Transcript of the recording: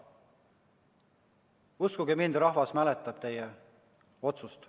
Uskuge mind, rahvas mäletab teie otsust.